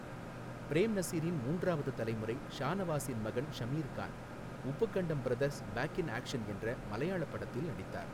Frame நசீரின் மூன்றாவது தலைமுறை ஷானவாஸின் மகன் Shameer Khan, Uppukandam brothers back in action என்ற மலையாள படத்தில் நடித்தார்.